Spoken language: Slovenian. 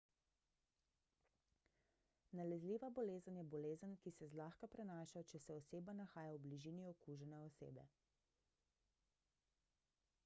nalezljiva bolezen je bolezen ki se zlahka prenaša če se oseba nahaja v bližini okužene osebe